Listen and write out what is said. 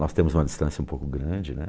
Nós temos uma distância um pouco grande, né?